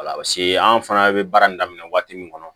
Wala paseke an fana bɛ baara in daminɛ waati min kɔnɔ